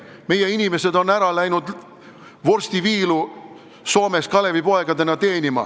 Meie inimesed on Soome Kalevipoegadena vorstiviilu teenima läinud.